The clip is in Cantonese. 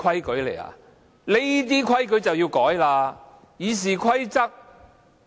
請代理主席執行《議事規則》。